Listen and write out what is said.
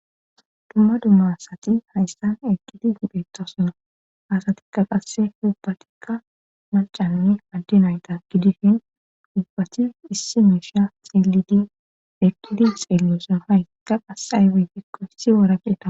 Dumma dummasati hayssan eqqidi hipheettosuna hasatikka qasse huubbatikka mancanni addi nayta gidishin duubbati issi miisha xielidi eqqidi xeellesona hayka qasay woyekko issi woraqeta.